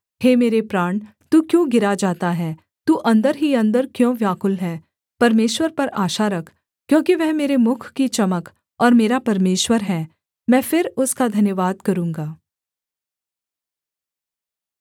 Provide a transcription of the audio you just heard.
हे मेरे प्राण तू क्यों गिरा जाता है तू अन्दर ही अन्दर क्यों व्याकुल है परमेश्वर पर आशा रख क्योंकि वह मेरे मुख की चमक और मेरा परमेश्वर है मैं फिर उसका धन्यवाद करूँगा